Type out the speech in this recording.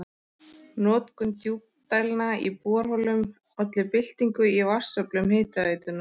Notkun djúpdælna í borholum olli byltingu í vatnsöflun Hitaveitunnar.